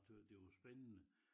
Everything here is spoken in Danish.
Tøs det var spændende